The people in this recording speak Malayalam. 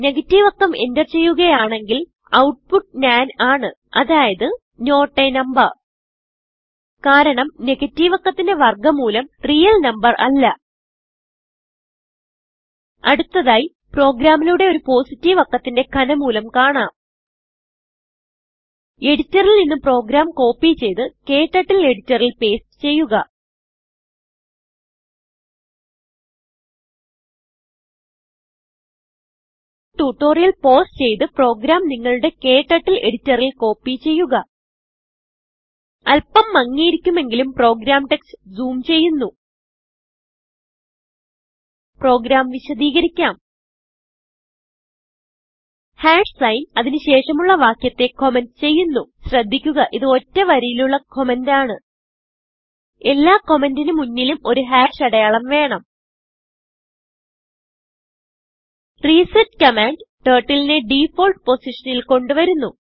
നെഗറ്റീവ് അക്കംഎന്റർ ചെയ്യുകയാണെങ്കിൽ output nanആണ് അതായത് നോട്ട് a നംബർ കാരണംനെഗറ്റീവ് അക്കത്തിന്റെ വർഗ മൂലം റിയൽ നംബർ അല്ല അടുത്തതായി പ്രോഗ്രാമിലൂടെ ഒരു പോസിറ്റീവ് അക്കത്തിന്റെ ഘനമൂലംകാണാം എഡിറ്ററിൽ നിന്ന് പ്രോഗ്രാം കോപ്പി ചെയ്ത് ക്ടർട്ടിൽ എഡിറ്ററിൽ പേസ്റ്റ് ചെയ്യുക ട്യൂട്ടോറിയൽ ഇവിടെ പൌസ് ചെയ്ത് പ്രോഗ്രാം നിങ്ങളുടെ ക്ടർട്ടിൽ എഡിറ്ററിൽ കോപ്പി ചെയ്യുക അല്പം മങ്ങിയിരിക്കുമെങ്കിലും പ്രോഗ്രാം ടെക്സ്റ്റ് ജൂം ചെയ്യുന്നു പ്രോഗ്രാം വിശദികരിക്കാം signഅതിന് ശേഷമുള്ള വാക്യത്തെ കമന്റ് ചെയ്യുന്നു ശ്രദ്ധിക്കുക ഇത് ഒറ്റ വരിയിലുള്ള കമന്റ് ആണ് എല്ലാ കമന്റിന് മുന്നിലും ഒരു അടയാളം വേണം റിസെറ്റ് കമാൻഡ് Turtleനെ ഡിഫോൾട്ട് പൊസിഷനിൽ കൊണ്ട് വരുന്നു